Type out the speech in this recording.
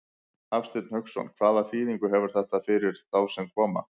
Hafsteinn Hauksson: Hvaða þýðingu hefur þetta fyrir þá sem að koma?